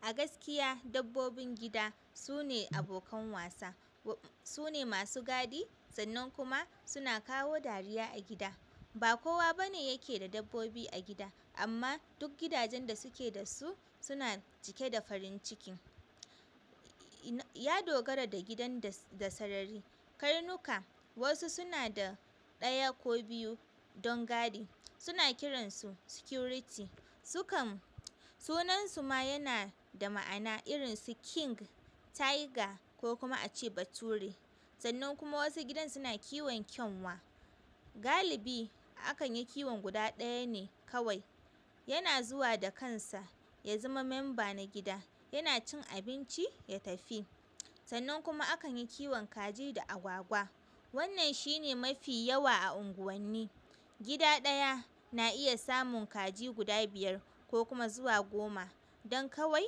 A gaskiya dabbobin gida su ne abokan wasa. Sune masu gadi sannan kuma suna kawo dariya a gida ba kowa bane yake da dabbobi a gida, amma duk gidajen da suke da su suna cike da farin cikin. Ya dogara da gidan da sarari. Karnuka wasu suna da ɗaya ko biyu don gadi. Suna kiransu security su kan sunansu ma yana da ma'ana irin su King, Tiger ko kuma ace bature. Sannan kuma wasu gidan suna kiwon kyanwa. Galibi akan yi kiwon guda ɗaya ne kawai. Yana zuwa da kansa ya zama member na gida yana cin abinci ya tafi. Sannan kuma akan yi kiwon kaji da agwagwa. Wannan shine mafi yawa a unguwanni. Gida ɗaya na iya samun kaji guda biyar ko kuma zuwa goma don kawai,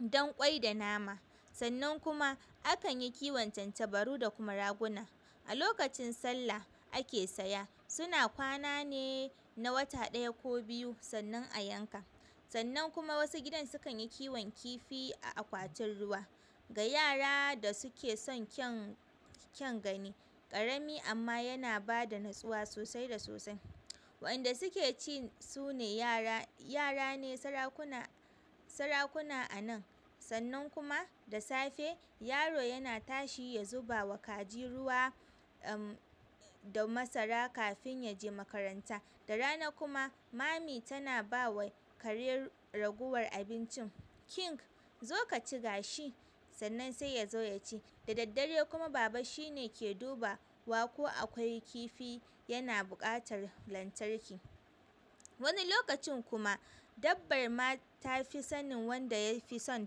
don ƙwai da nama. Sannan kuma akan yi kiwon tantabaru da kuma raguna. A lokacin sallah ake saya. Suna kwana ne na wata ɗaya ko biyu sannan a yanka. Sannan kuma wasu gidan sukan yi kiwon kifi a akwatin ruwa da yara da suke son kyan-kyan gani. Ƙarami amma yana ba da natsuwa sosai da sosai. Wanda suke ci sune yara. Yara ne sarakuna a nan. Sannan kuma da safe yaro yana tashi ya zuba wa kaji ruwa, da masara kafin ya je makaranta. Da rana kuma mommy tana ba wa kare ragowar abincin. King zo ka ci gashi sannan sai ya zo ya ci. Da daddare kuma baba shine ke duba wa ko akwai kifi yana buƙatar lantarki. Wani lokacin kuma dabbar ma ta fi sanin wanda ya fi son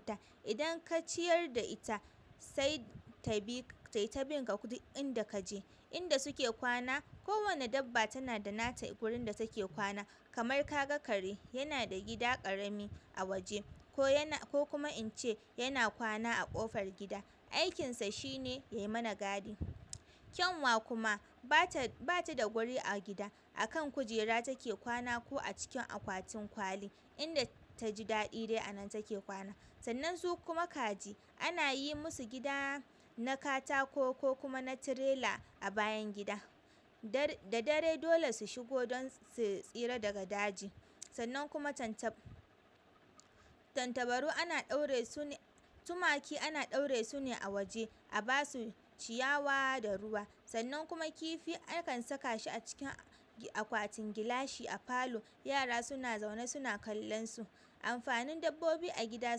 ta. Idan ka ciyar da ita sai tayi ta bin ka duk inda kaje. Inda suke kwana ko wani dabba tana da nata inda take kwana kamar ka ga kare yana da gida ƙarami a waje ko kuma in ce yana kwana a ƙofar gida. Aikinsa shine ya yi mana gadi. Kyanwa kuma bata da guri a gida. A kan kujera dai take kwana ko a cikin akwatin kwali sannan su kuma kaji anayi musu gida na katako ko kuma na trailer a bayan gida da dare dole su shigo don su tsira daga daji. Sannan kuma tantabaru ana ɗaure su ne, tumaki ana ɗaure su ne a waje a basu ciyawa da ruwa. Sannan kuma kifi akan saka shi a cikin akwatin gilashi a falo. Yara suna zaune suna kallon su amfanin dabbobi a gida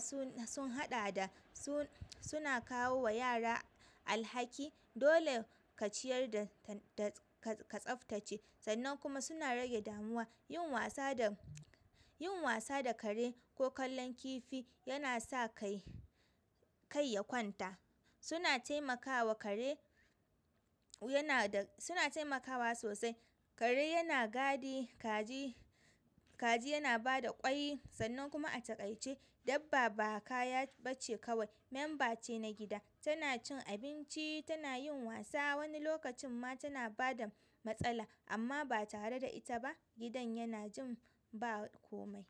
sun haɗa da suna kawowa yara alhaki dole ka ciyar ka tsaftace. Sannan kuma suna rage damuwa. Yin wasa da kare ko kallon kifi yana sa kai ya kwanta suna temakawa kare sunada suna temakawa sosai kare yana gadi kaji yana bada ƙwai sannan kuma a takaice dabba ba kaya bace kawai member ce ta gida tana cin abinci, tana yin wasa. Wani lokacin ma tana bada matsala amma ba tare da ita ba gidan yan jin ba komai.